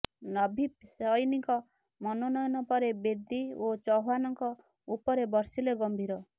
ନଭ୍ଦୀପ୍ ସଇନିଙ୍କ ମନୋନୟନ ପରେ ବେଦୀ ଓ ଚୌହାନଙ୍କ ଉପରେ ବର୍ଷିଲେ ଗମ୍ଭୀର